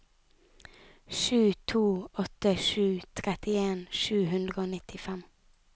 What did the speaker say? sju to åtte sju trettien sju hundre og nittifem